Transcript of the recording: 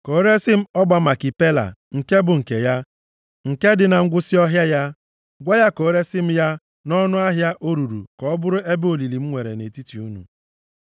ka o resi m ọgba Makipela, nke bụ nke ya, nke dị na ngwụsị ọhịa ya. Gwa ya ka o resi m ya nʼọnụ ahịa o ruru ka ọ bụrụ ebe olili m nwere nʼetiti unu.”